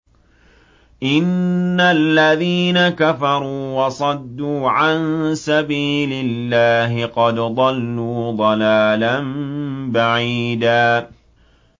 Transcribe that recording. إِنَّ الَّذِينَ كَفَرُوا وَصَدُّوا عَن سَبِيلِ اللَّهِ قَدْ ضَلُّوا ضَلَالًا بَعِيدًا